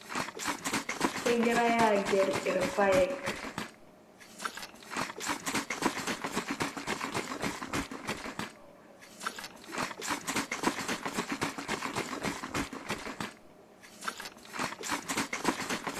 Kegirai aagel irpaek.